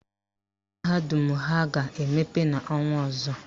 Mahadum ha ga-emepe n' ọnwa ọzọ.